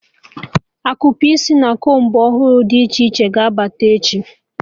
Akupe isi na combu ọhụrụ dị iche iche ga-abata echi